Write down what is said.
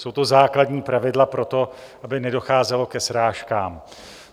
Jsou to základní pravidla pro to, aby nedocházelo ke srážkám.